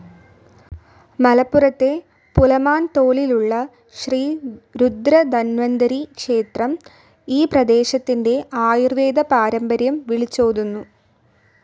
മലപ്പുറത്തെ പുലമാൻതോലിലുള്ള ശ്രീ രുദ്ര ധന്വന്തരി ക്ഷേത്രം ഈ പ്രദേശത്തിൻ്റെ ആയുർവേദ പാരമ്പര്യം വിളിച്ചോതുന്നു.